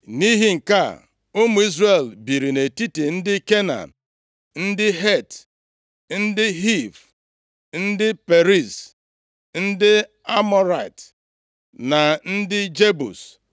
Nʼihi nke a, ụmụ Izrel biri nʼetiti ndị Kenan, ndị Het, ndị Hiv, ndị Periz, ndị Amọrait, na ndị Jebus.